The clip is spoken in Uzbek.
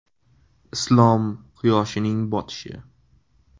Islom quyoshining botishi.